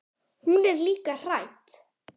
Hún er líka hrædd.